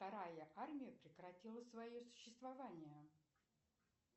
вторая армия прекратила свое существование